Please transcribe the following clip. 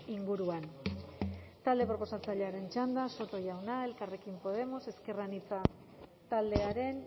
inguruan talde proposatzaileen txanda soto jauna elkarrekin podemos ezker anitza taldearen